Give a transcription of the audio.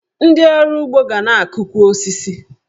Ndị ọrụ ugbo ga na-akụkwu osisi.